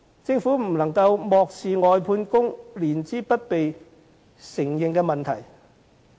政府不能漠視外判工人年資不被承認的問題。